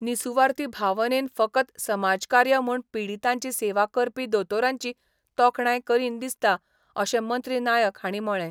निसुवार्थी भावनेन फकत समाजकार्य म्हूण पिडीतांची सेवा करपी दोतोरांची तोखणाय करीन दिसता अशें मंत्री नायक हांणी म्हळें.